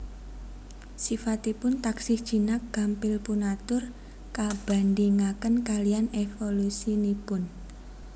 Sifatipun taksih jinak gampil punatur kabandhingaken kaliyan evolusinipun